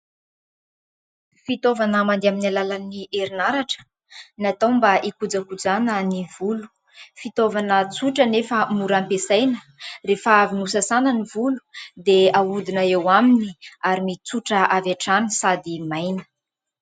Fitaovana mandeha amin'ny alalan'ny herinaratra, natao mba hikojakojana ny volo. Fitaovana tsotra nefa mora ampiasaina. Rehefa avy nosasana ny volo, dia ahodina eo aminy, ary mitsotra avy hatrany sady maina.